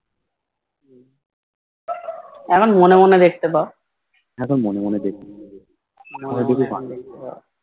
এখন মনে মনে দেখতে পাও